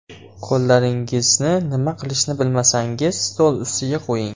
Qo‘llaringizni nima qilishni bilmasangiz, stol ustiga qo‘ying.